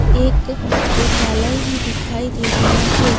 एक शौचालय भी दिखाई दे रहा है।